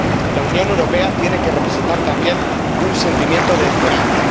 La Unión Europea tiene que representar también un sentimiento de esperanza.